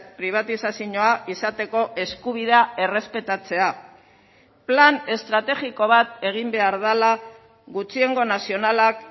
pribatizazioa izateko eskubidea errespetatzea plan estrategiko bat egin behar dela gutxiengo nazionalak